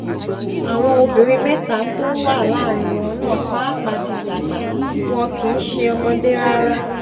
àwọn obìnrin mẹ́ta tó wà láàrin wọn náà pàápàá ti dàgbà wọn kì í ṣe ọmọdé rárá